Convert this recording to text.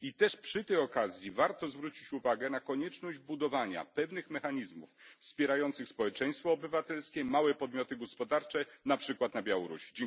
I przy tej okazji warto też zwrócić uwagę na konieczność budowania pewnych mechanizmów wspierających społeczeństwo obywatelskie i małe podmioty gospodarcze, na przykład na Białorusi.